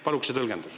Palun seda tõlgendust.